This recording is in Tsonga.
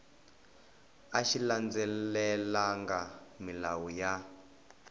a xi landzelelangi milawu ya